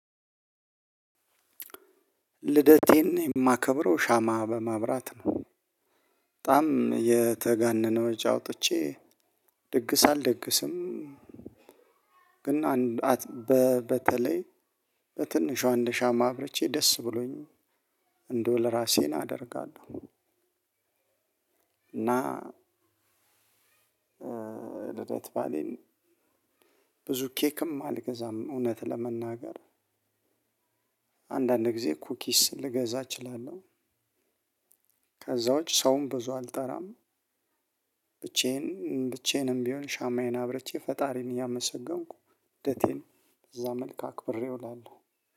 ልደቴን የማከብረው ሻማ በማብራት ነው። በጣም የተጋነነ ወጪ አውጥቼ ድግስ አልደግስም። ግን በተለይ በትንሿ እንደ ሻማ አብርቼ ደስ ብሎኝ እንደው ለራሴን አደርጋለሁ። እና። ልደት ባሌን ብዙ ኬክም አልገዛም እውነት ለመናገር። አንዳንድ ጊዜ ኩኪስ ልገዛ እችላለሁ። ከዛ ውጭ ሰውም ብዙ አልጠራም። ብቻዬን ብቻዬንም ቢሆን ሻማዬን አብርቼ ፈጣሪን እያመሰገንኩ ልደቴን በዛ መልክ አክብሬ እውላለሁ።